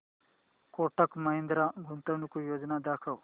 कोटक महिंद्रा गुंतवणूक योजना दाखव